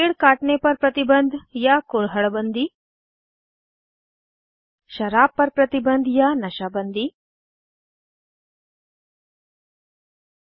पेड़ काटने पर प्रतिबन्ध या कुरहड़ बन्दी 4शराब पर प्रतिबन्ध या नशा बन्दी 5